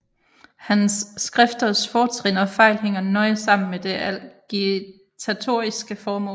Hans skrifters fortrin og fejl hænger nøje sammen med det agitatoriske formål